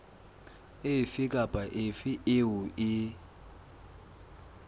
efe kapa efe eo e